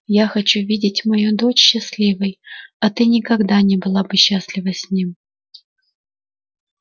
я хочу видеть мою дочь счастливой а ты никогда не была бы счастлива с ним